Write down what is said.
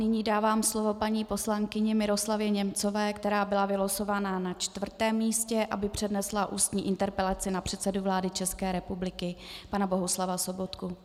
Nyní dávám slovo paní poslankyni Miroslavě Němcové, která byla vylosována na čtvrtém místě, aby přednesla ústní interpelaci na předsedu vlády České republiky pana Bohuslava Sobotku.